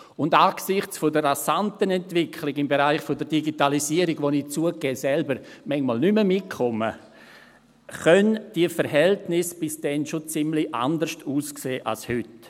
Und angesichts der rasanten Entwicklung im Bereich der Digitalisierung, bei der ich – zugegeben – manchmal selber nicht mehr mitkomme, können die Verhältnisse bis dann schon ziemlich anders aussehen als heute.